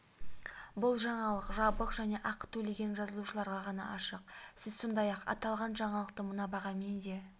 бұл жаңалық жабық және ақы төлеген жазылушыларға ғана ашық сіз сондай-ақ аталған жаңалықты мына бағамен де